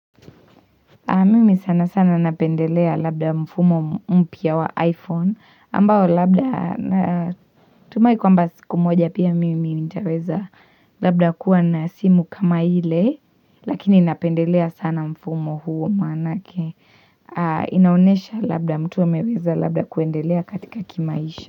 Mimi sana sana napendelea labda mfumo mpya wa iPhone ambao labda natumai kwa mba siku moja pia mimi minitaweza labda kuwa na simu kama ile lakini napendelea sana mfumo huo manake inaonesha labda mtu ameweza labda kuendelea katika kimaisha.